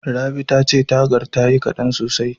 Rabi tace tagar tayi kaɗan sosai.